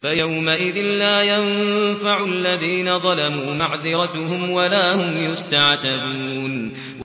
فَيَوْمَئِذٍ لَّا يَنفَعُ الَّذِينَ ظَلَمُوا مَعْذِرَتُهُمْ وَلَا هُمْ يُسْتَعْتَبُونَ